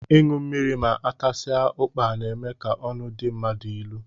Ịṅụ mmiri ma atasia ukpa n'eme ka ọnụ dị mmadụ ịlụ